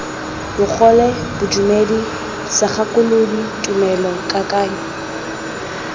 bogole bodumedi segakolodi tumelo kakanyo